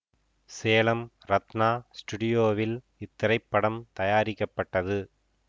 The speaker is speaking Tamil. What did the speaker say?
சேலம் ரத்னா ஸ்டூடியோவில் இத்திரைப்படம் தயாரிக்கப்பட்டது